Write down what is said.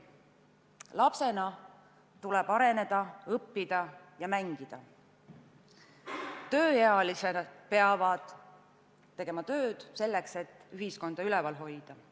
Lapsena tuleb areneda, õppida ja mängida, tööealised peavad tegema tööd selleks, et ühiskonda üleval hoida.